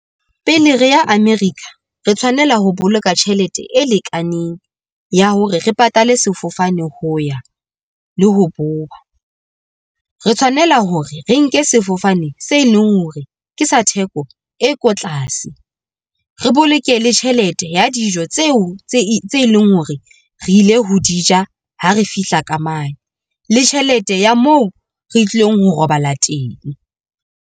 Pele re ya America re tshwanela ho boloka tjhelete e lekaneng ya hore re patale sefofane ho ya le ho boya. Re tshwanela hore re nke sefofane se leng hore ke sa theko e ko tlase. Re boloke le tjhelete ya dijo tseo tse leng hore re ilo di ja ha re fihla ka mane le tjhelete ya moo re tlilong ho robala teng.